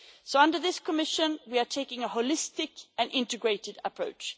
So under this Commission, we are taking a holistic and integrated approach.